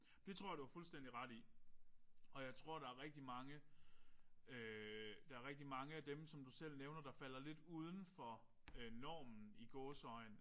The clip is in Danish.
Det tror jeg du har fuldstændig ret i. Og jeg tror der er rigtig mange der er rigtig mange af dem som du selv nævner der falder lidt udenfor øh normen i gåseøjne